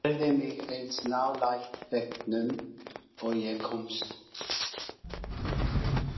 Færði mig eins nálægt veggnum og ég komst.